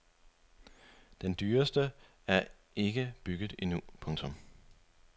Den dyreste er ikke bygget endnu. punktum